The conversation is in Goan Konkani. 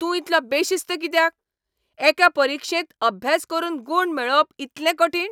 तूं इतलो बेशिस्त कित्याक ? एके परिक्षेंत अभ्यास करून गूण मेळोवप इतलें कठीण?